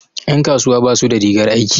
Ƴan kasuwa basu da rigar aiki.